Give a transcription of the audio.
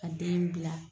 Ka den bila